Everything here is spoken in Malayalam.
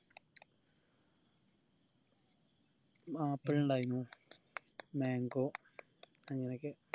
ഉം apple ഇണ്ടായ്നു mango അങ്ങനൊക്കെ